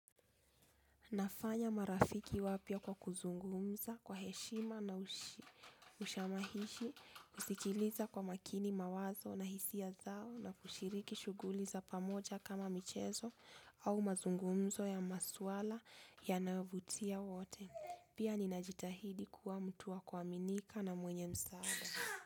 Nafanya marafiki wapya kwa kuzungumza kwa heshima na ushamahishi, husikiliza kwa makini mawazo na hisia zao na kushiriki shughuli za pamoja kama michezo au mazungumzo ya maswala yanayovutia wote. Pia ninajitahidi kuwa mtu wa kuaminika na mwenye msaada.